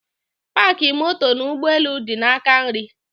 Paki moto n'ụgbọelu di n'aka nri